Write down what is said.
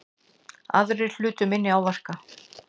Aðrir hlutu minni áverka